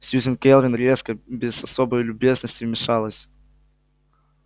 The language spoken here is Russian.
сьюзен кэлвин резко без особой любезности вмешалась